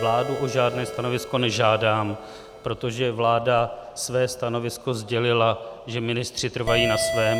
Vládu o žádné stanovisko nežádám, protože vláda své stanovisko sdělila, že ministři trvají na svém.